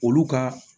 Olu ka